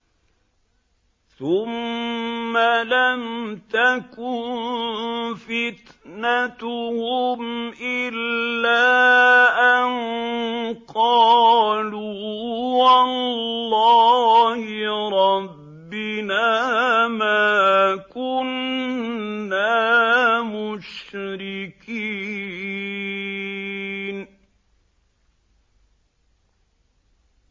ثُمَّ لَمْ تَكُن فِتْنَتُهُمْ إِلَّا أَن قَالُوا وَاللَّهِ رَبِّنَا مَا كُنَّا مُشْرِكِينَ